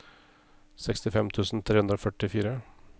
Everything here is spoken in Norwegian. sekstifem tusen tre hundre og førtifire